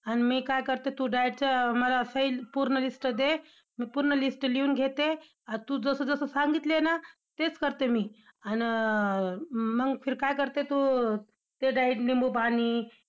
आन मी काय करते, तू diet चं मला सही पूर्ण list दे. मी पूर्ण list लिहून घेते. तू जसं जसं सांगितलंय ना, तेच करते मी! आन अं मग फिर काय करते तू ते diet लिंबू पाणी